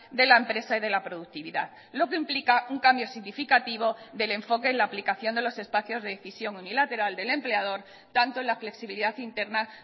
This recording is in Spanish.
de la empresa y de la productividad lo que implica un cambio significativo del enfoque en la aplicación de los espacios de decisión unilateral del empleador tanto en la flexibilidad interna